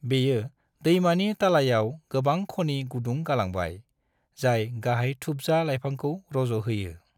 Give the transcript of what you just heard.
बेयो दैमानि तालायाव गोबां खनि गुदुं गालांबाय, जाय गाहाय थुबजा लायफांखौ रज' होयो।